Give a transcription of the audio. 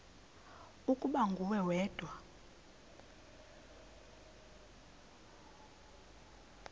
ukuba nguwe wedwa